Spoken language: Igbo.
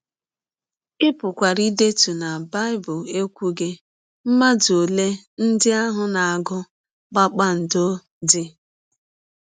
Ị pụkwara ịdetụ na Bible ekwughị mmadụ ole ndị ahụ na - agụ kpakpando dị.